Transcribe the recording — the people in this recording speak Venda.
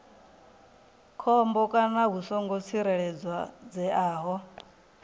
khombo kana hu songo tsireledzeaho